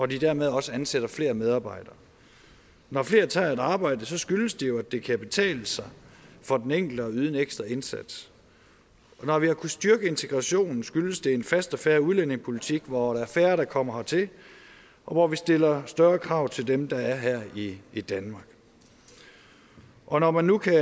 de dermed også ansætter flere medarbejdere når flere tager et arbejde skyldes det jo at det kan betale sig for den enkelte at yde en ekstra indsats og når vi har kunnet styrke integrationen skyldes det en fast og fair udlændingepolitik hvor der er færre der kommer hertil og hvor vi stiller større krav til dem der er her i danmark og når man nu kan